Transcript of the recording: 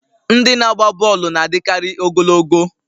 Ndị na-agba bọọlụ na-adịkarị ogologo